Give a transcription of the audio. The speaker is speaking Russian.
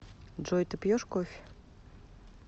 джой ты пьешь кофе